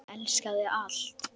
Sem elskaði allt.